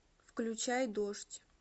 включай дождь